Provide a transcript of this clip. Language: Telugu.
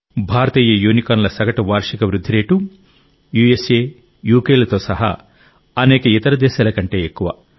భారతీయ యూనికార్న్ల సగటు వార్షిక వృద్ధి రేటు యూఎస్ఏ UKలతో సహా అనేక ఇతర దేశాల కంటే ఎక్కువ